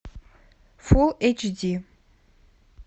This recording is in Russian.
фул эйч ди